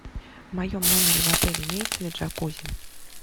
в моем номере в отеле имеется ли джакузи